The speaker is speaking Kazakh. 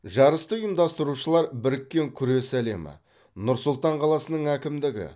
жарысты ұйымдастырушылар біріккен күрес әлемі нұр сұлтан қаласының әкімдігі